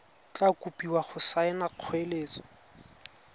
tla kopiwa go saena kgoeletso